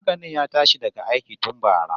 Maganin ya tashi daga aiki tun bara